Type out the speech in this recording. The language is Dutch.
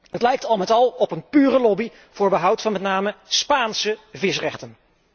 Het lijkt al met al op een pure lobby voor behoud van met name Spaanse visrechten.